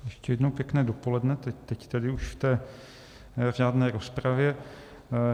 Ještě jednou pěkné dopoledne, teď tedy už v té řádné rozpravě.